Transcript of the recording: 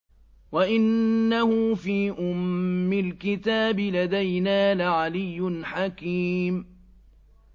وَإِنَّهُ فِي أُمِّ الْكِتَابِ لَدَيْنَا لَعَلِيٌّ حَكِيمٌ